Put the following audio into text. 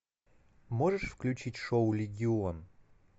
можешь включить шоу легион